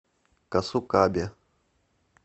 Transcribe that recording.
касукабе